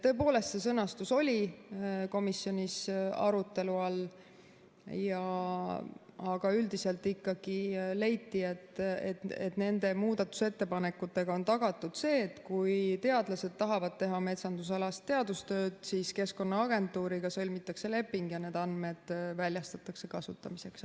Tõepoolest, see sõnastus oli komisjonis arutelu all, aga üldiselt ikkagi leiti, et nende muudatusettepanekutega on tagatud see, et kui teadlased tahavad teha metsandusalast teadustööd, siis Keskkonnaagentuuriga sõlmitakse leping ja need andmed väljastatakse kasutamiseks.